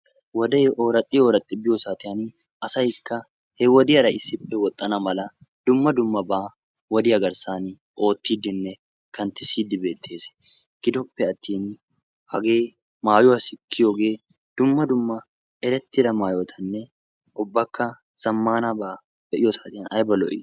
Wode ooraxxi oraxxi biyo saatiyaan asaykka he wodiyaara issippe woxxana mala dumma dummaba wodiyaa garssan ootidinne kanttisside beettees.. gidoppe atin hage maayuwaa sikkiyooge dumma dumma erettida maayota ubbakka erettida zammanaba be'iyooge aybba lo''i.